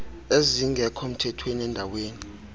ezingekho mthethweni endaweni